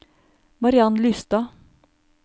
Mariann Lystad